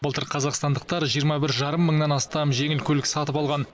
былтыр қазақстандықтар жиырма бір жарым мыңнан астам жеңіл көлік сатып алған